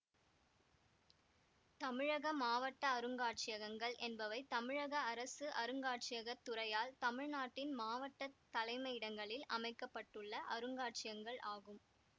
தமிழக மாவட்ட அருங்காட்சியகங்கள் என்பவை தமிழக அரசு அருங்காட்சியகத் துறையால் தமிழ்நாட்டின் மாவட்ட தலைமையிடங்களில் அமைக்க பட்டுள்ள அருங்காட்சியங்கள் ஆகும்